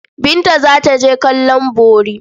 Binta za ta je kallon bori.